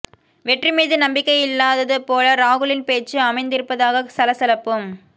வெற்றி மீது நம்பிக்கை இல்லாதது போல ராகுலின் பேச்சு அமைந்திருப்பதாக சலசலப்பும்